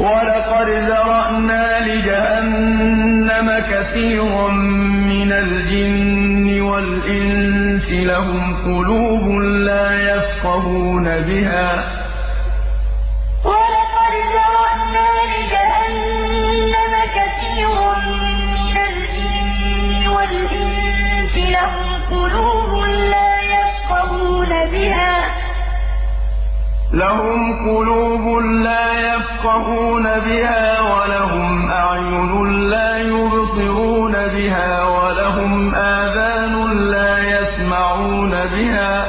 وَلَقَدْ ذَرَأْنَا لِجَهَنَّمَ كَثِيرًا مِّنَ الْجِنِّ وَالْإِنسِ ۖ لَهُمْ قُلُوبٌ لَّا يَفْقَهُونَ بِهَا وَلَهُمْ أَعْيُنٌ لَّا يُبْصِرُونَ بِهَا وَلَهُمْ آذَانٌ لَّا يَسْمَعُونَ بِهَا ۚ